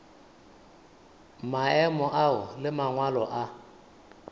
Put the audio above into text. maemo ao le mangwalo a